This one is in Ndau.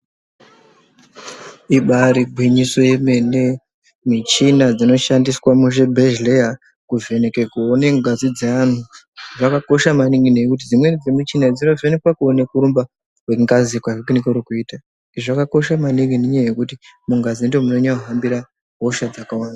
Ibari gwinyiso yemene michina dzinoshandiswa muzvibhedhleya kuvheneke kuone ngazi dzeanhu dzakakosha maningi ngekuti dzimweni dzemuchina dzinovheneka kuone kurumba kwrngazi kwakunenge kuri kuita izvi zvakakosha maningi nenyaya yekuti mungazi ndomunonyanya kuhambira hosha dzakawanda.